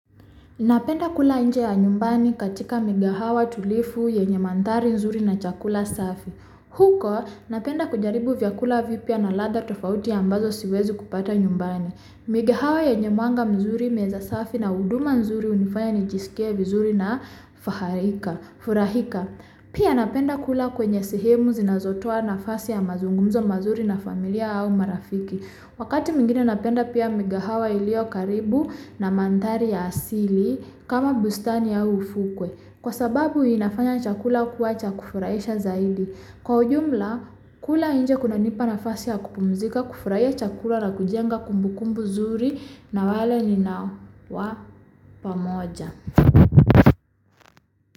Napenda kula nje ya nyumbani katika mkahawa tulivu yenye manthari nzuri na chakula safi. Huko, napenda kujaribu vyakula vipya na ladha tofauti ambazo siwezi kupata nyumbani. Migahawa yenye mwanga mzuri meza safi na huduma nzuri unifanya nijiskie vizuri na furahika. Pia napenda kula kwenye sehemu zinazotoa nafasi ya mazungumzo mazuri na familia au marafiki. Wakati mwingine napenda pia migahawa yaliyo karibu na manthari ya asili kama bustani au ufukwe. Kwa sababu inafanya chakula kuwa cha kufurahisha zaidi. Kwa ujumla kula nje kunanipa nafasi ya kupumzika kufurahia chakula na kujenga kumbukumbu zuri na wale ninawa pamoja.